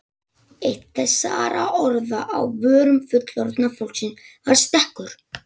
Eitt þessara orða á vörum fullorðna fólksins var stekkur.